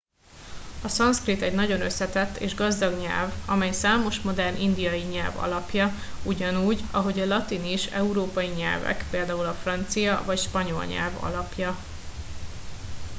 a szanszkrit egy nagyon összetett és gazdag nyelv amely számos modern indiai nyelv alapja ugyanúgy ahogy a latin is európai nyelvek például a francia vagy spanyol nyelv alapja